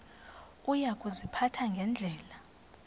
uya kuziphatha ngendlela